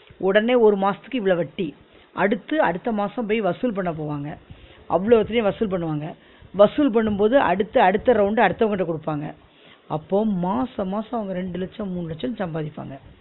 உடனே ஒரு மாசத்துக்கு இவ்ளோ வட்டி அடுத்து அடுத்த மாசோ போய் வசூல் பண்ண போவாங்க அவ்ளோத்ட்யு வசூல் பண்ணுவாங்க வசூல் பண்ணும் போது அடுத்து அடுத்த round உ அடுத்தவங்கிட்ட குடுப்பாங்க அப்போ மாசோ மாசோ அவுங்க ரெண்டு லட்சோ மூணு லட்சோன்னு சம்பாதிப்பாங்க